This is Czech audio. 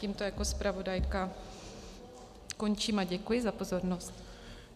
Tímto jako zpravodajka končím a děkuji za pozornost.